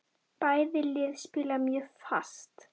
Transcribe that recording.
Bæði lið spila mjög fast.